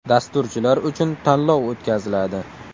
Dasturchilar uchun tanlov o‘tkaziladi.